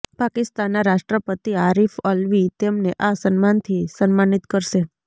પાકિસ્તાનના રાષ્ટ્રપતિ આરિફ અલ્વી તેમને આ સન્માનથી સન્માનિત કરશે